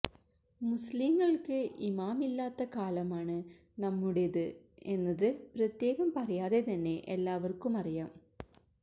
മുസ്ലിംകള്ക്ക് ഇമാമില്ലാത്ത കാലമാണ് നമ്മുടേത് എന്നത് പ്രത്യേകം പറയാതെ തന്നെ എല്ലാവര്ക്കും അറിയാം